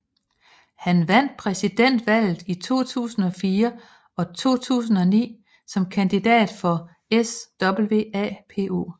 Han vandt Præsidentvalget i 2004 og 2009 som kandidat for SWAPO